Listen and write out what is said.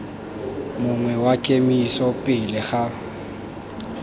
mongwe wa kemiso pele ga